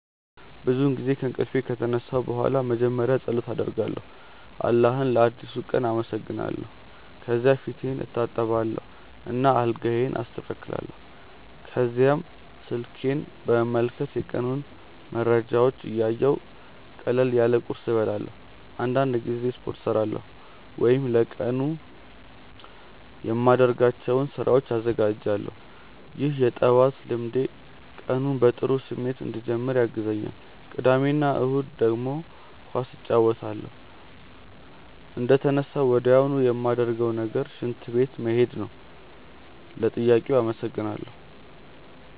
ብዙውን ጊዜ ከእንቅልፌ ከተነሳሁ በኋላ መጀመሪያ ፀሎት አደርጋለሁ አላህን ለአዲሱ ቀን አመሰግናለሁ። ከዚያ ፊቴን እታጠባለሁ እና አልጋዬን አስተካክላለሁ። ከዚያም ስልኬን በመመልከት የቀኑን መረጃዎች እያየሁ ቀለል ያለ ቁርስ እበላለሁ። አንዳንድ ጊዜ ስፖርት እሠራለሁ ወይም ለቀኑ የማደርጋቸውን ስራዎች እዘጋጃለሁ። ይህ የጠዋት ልምዴ ቀኑን በጥሩ ስሜት እንድጀምር ያግዘኛል። ቅዳሜ እና እሁድ ደግሞ ኳስ እጫወታለሁ። እንደተነሳሁ ወዲያውኑ ማረገው ነገር ሽንት ቤት መሄድ ነው። ለጥያቄው አመሰግናለው።